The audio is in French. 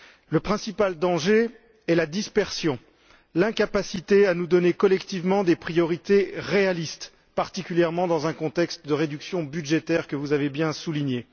Le principal danger est la dispersion, l'incapacité à nous donner collectivement des priorités réalistes, particulièrement dans un contexte de réduction budgétaire, que vous avez bien souligné.